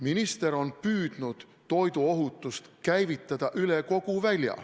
Minister on püüdnud toiduohutust käivitada üle kogu välja.